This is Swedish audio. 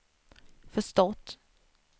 förstått